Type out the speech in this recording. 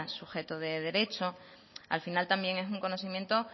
sujeto de derecho al final también es un conocimiento